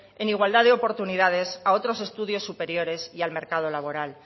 en igualdad de oportunidades a otros estudios superiores y al mercado laboral